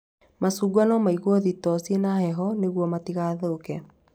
Macungwa no maigwo thitoo ciĩna heho nĩguo matigathũke